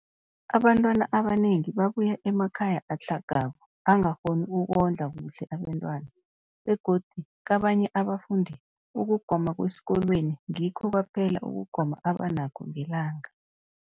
Abantwana abanengi babuya emakhaya atlhagako angakghoni ukondla kuhle abentwana, begodu kabanye abafundi, ukugoma kwesikolweni ngikho kwaphela ukugoma abanakho ngelanga.